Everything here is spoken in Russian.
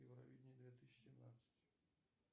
евровидение две тысячи семнадцать